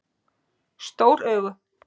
Stór augu